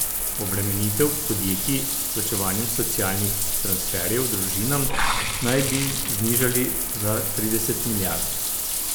Obremenitev podjetij s plačevanjem socialnih transferjev družinam naj bi znižali za trideset milijard.